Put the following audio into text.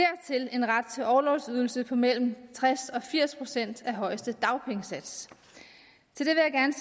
en ret til orlovsydelse på mellem tres og firs procent af højeste dagpengesats